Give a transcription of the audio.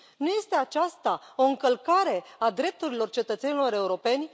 Nu este aceasta o încălcare a drepturilor cetățenilor europeni?